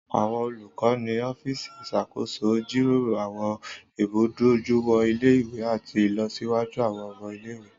Àwọn olukọ ni ọfiíìsiì iṣakoso n jiroro àwọn imudojuiwọn ile-iwe ati ilọsiwaju àwọn ọmọ ile-iwe.